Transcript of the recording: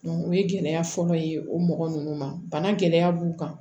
o ye gɛlɛya fɔlɔ ye o mɔgɔ nunnu ma bana gɛlɛya b'u kan